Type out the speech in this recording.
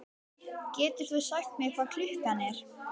Getur þú sagt mér hvað klukkan er?